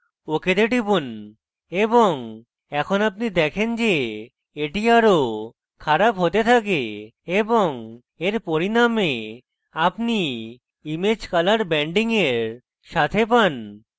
ok তে টিপুন এবং এখন আপনি দেখেন যে এটি আরো খারাপ হতে থাকে এবং এর পরিনামে আপনি image colour ব্যান্ডিং এর সাথে পান